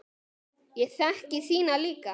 Ég þekki þína líka.